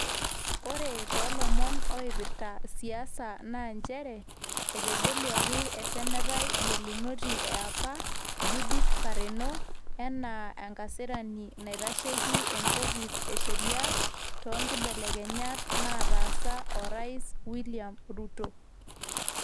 Ore toolomon oipirita siasa naa nchere, etegeluaki esenetai gelunoti e apa Judith Pareno anaa enkasirani naitasheki enkofis esheria, too nkibelekenyat naatasha orais William Ruto.